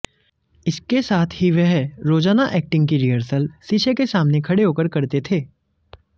इसके साथ ही वह रोजाना एक्टिंग की रिहर्सल शीशे के सामने खड़े होकर करते थे